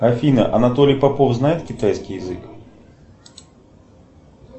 афина анатолий попов знает китайский язык